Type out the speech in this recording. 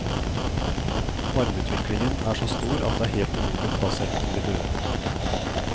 Varmeutviklingen er så stor at det er helt umulig å ta seg inn til de døde.